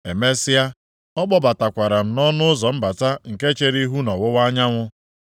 Emesịa, ọ kpọbatakwara m nʼọnụ ụzọ mbata nke chere ihu nʼọwụwa anyanwụ.